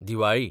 Diwali